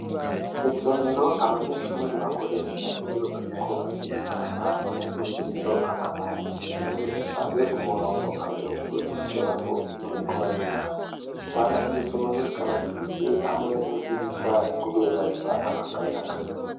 Isomero abanyeshuri bakoresha iyobariko bariega hama muy' iryo somero akaba harimwo inebe zipanze ku murongo abanyeshuri bicarako iyobariko barega hama iryo somero rikaba rifise hamwe n'idirisha, kubera ritanga akayaga.